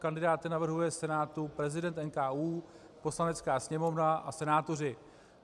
Kandidáty navrhuje Senátu prezident NKÚ, Poslanecká sněmovna a senátoři.